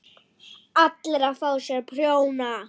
ALLIR AÐ FÁ SÉR PRJÓNA!